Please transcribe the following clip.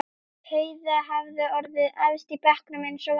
Heiða hafði orðið efst í bekknum eins og vanalega.